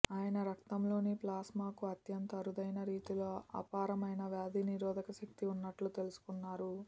ఆయన రక్తంలోని ప్లాస్మాకు అత్యంత అరుదైన రీతిలో అపారమైన వ్యాధి నిరోధక శక్తి ఉన్నట్టు తెలుసుకున్నారు